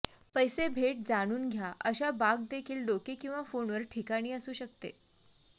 पैसे भेट जाणून घ्या अशा बाग देखील डोके किंवा फोनवर ठिकाणी असू शकते